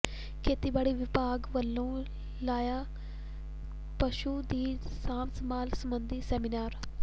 ਖੇਤੀਬਾੜੀ ਵਿਭਾਗ ਵੱਲੋਂ ਲਾਇਆ ਪਸ਼ੂਆਂ ਦੀ ਸਾਂਭ ਸੰਭਾਲ ਸਬੰਧੀ ਸੈਮੀਨਾਰ